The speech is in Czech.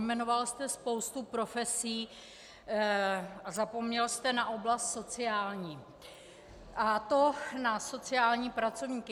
Vyjmenoval jste spoustu profesí a zapomněl jste na oblast sociální, a to na sociální pracovníky.